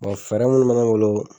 fɛɛrɛ mun bɛ ne bolo